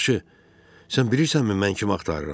Yaxşı, sən bilirsənmi mən kim axtarıram?